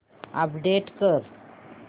update कर